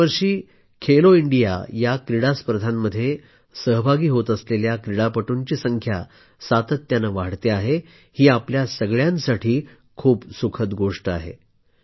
दरवर्षी खेलो इंडिया या क्रीडा स्पर्धांमध्ये सहभागी होत असलेल्या क्रीडापटूंची संख्या सातत्याने वाढते आहे ही आपल्या सर्वांसाठी खूप सुखद गोष्ट आहे